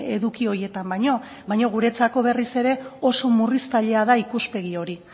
edukia horietan baino baino guretzako berriz ere oso murritzailea da ikuspegi hori